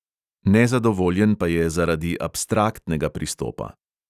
Nezadovoljen pa je zaradi abstraktnega pristopa.